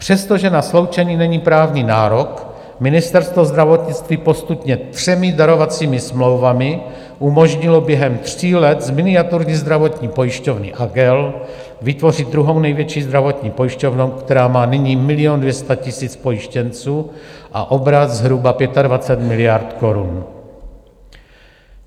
Přestože na sloučení není právní nárok, Ministerstvo zdravotnictví postupně třemi darovacími smlouvami umožnilo během tří let z miniaturní zdravotní pojišťovny Agel vytvořit druhou největší zdravotní pojišťovnu, která má nyní 1 200 000 pojištěnců a obrat zhruba 25 miliard korun.